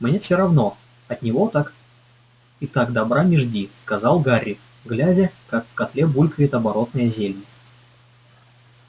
мне всё равно от него так и так добра не жди сказал гарри глядя как в котле булькает оборотное зелье